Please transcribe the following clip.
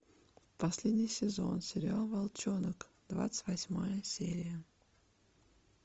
последний сезон сериал волчонок двадцать восьмая серия